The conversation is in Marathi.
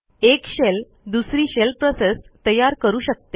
एक शेल दुसरी शेल प्रोसेस तयार करू शकते